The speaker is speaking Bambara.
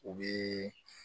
U bɛ